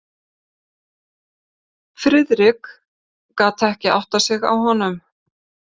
Friðrik gat ekki áttað sig á honum.